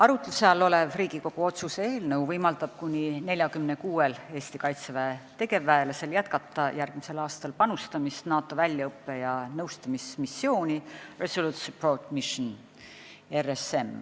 Arutluse all olev Riigikogu otsuse eelnõu võimaldab kuni 46-l Eesti Kaitseväe tegevväelasel jätkata järgmisel aastal panustamist NATO väljaõppe- ja nõustamismissiooni Resolute Support Mission .